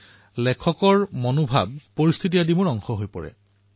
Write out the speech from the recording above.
ইয়াৰ পিছত মই কিছুমান তথ্যভিত্তিক কথা যেনে গাঁও ব্যক্তিৰ নাম আদি টুকি লওঁ